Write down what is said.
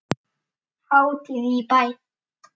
Hátíð í bæ